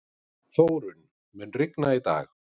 Þórunn, mun rigna í dag?